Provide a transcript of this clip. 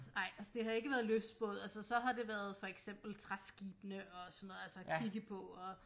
Ej altså det har ikke været lystbåd altså så har det været for eksempel træskibene og sådan noget altså kigge på og